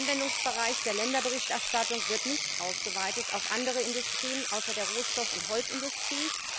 Der Anwendungsbereich der Länderberichterstattung wird nicht ausgeweitet auf andere Industrien außer der Rohstoff und Holzindustrie.